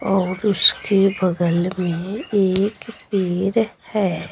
और उसके बगल में एक पेर है।